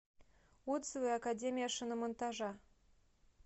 отзывы академия шиномонтажа